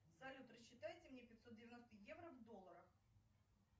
салют рассчитайте мне пятьсот девяносто евро в долларах